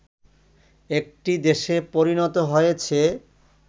একটি দেশে পরিণত হয়েছে